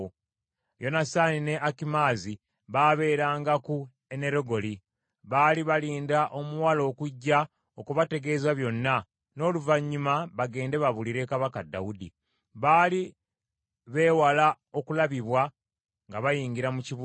Yonasaani ne Akimaazi baabeeranga ku Enerogeri. Baali balinda omuwala okujja okubategeeza byonna, n’oluvannyuma bagende babuulire kabaka Dawudi; baali beewala okulabibwa nga bayingira mu kibuga.